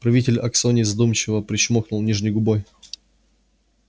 правитель аскони задумчиво причмокнул нижней губой